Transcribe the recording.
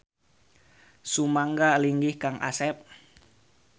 Sumangga linggih Kang Asep.